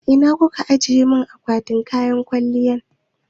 Ina kuka ajiye mun akwatin kwaliya na?